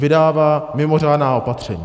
Vydává mimořádná opatření.